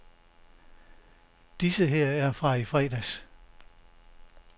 Disse her er fra i fredags.